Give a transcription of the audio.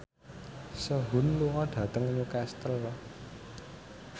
Sehun lunga dhateng Newcastle